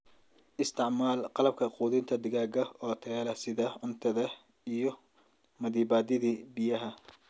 Isticmaal qalabka quudinta digaaga oo tayo leh sida cuntada iyo maddiibadihii biyaha.